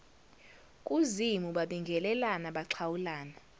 kuzimu babingelelana baxhawulana